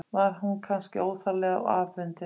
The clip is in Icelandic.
Var hún kannski óþarflega afundin?